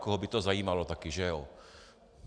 Koho by to zajímalo taky, že jo?